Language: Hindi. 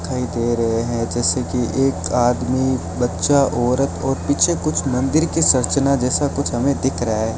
दिखाई दे रहे है जैसे की एक आदमी बच्चा औरत और पीछे कुछ मंदिर के संरचना जैसे कुछ हमे दिख रहा --